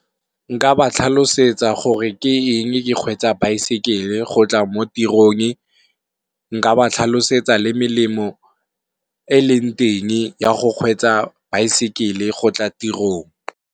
Nka ba tlhalosetsa gore ke eng ke kgwetsa baesekele go tla mo tirong, nka ba tlhalosetsa le melemo e eleng teng ya go kgwetsa baesekele go tla tirong.